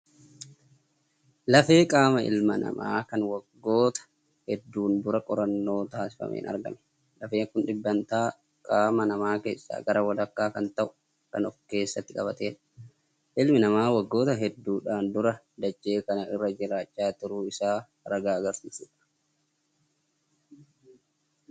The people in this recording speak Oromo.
Lafee qaama ilma namaa kan waggoota hedduun dura qorannoo taasifameen argame. Lafeen kun dhibbantaa qaama namaa keessaa gara walakkaa kan ta'u kan ofkeessatti qabatedha. Ilmi namaa waggoota hedduudhaan dura dachee kana irra jiraachaa turuu isaa ragaa agarsiisudha.